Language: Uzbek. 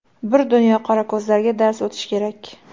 Bir dunyo qorako‘zlarga dars o‘tish kerak.